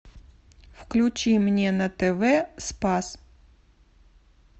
включи мне на тв спас